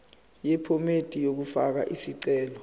yephomedi yokufaka isicelo